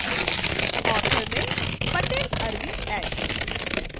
author में patel arvind h